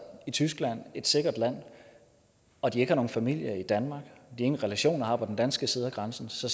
i tyskland et sikkert land og de ikke har nogen familie i danmark og ingen relationer har på den danske side af grænsen ser